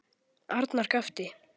Arnar gapti.